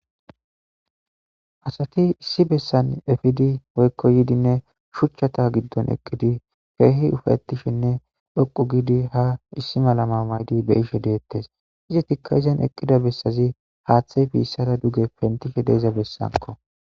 asati issi bessan efidi woykko yidinne shuchchata giddon eqqidi keehi ufatishinne dhoqu giidi ha issi malama maydi be ishe deettes izi tikka izan eqqida bessazi haaththey biissada duge pentishe deeza bessanko.